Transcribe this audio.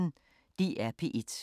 DR P1